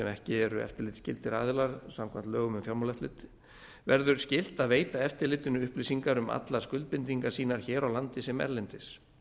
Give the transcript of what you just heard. ekki eru eftirlitsskyldir aðilar samkvæmt lögum um fjármálaeftirlit verður skylt að veita eftirlitinu upplýsingar um allar skuldbindingar sínar hér á landi sem erlendis